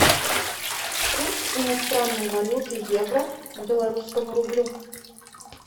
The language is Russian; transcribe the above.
курс иностранной валюты евро к белорусскому рублю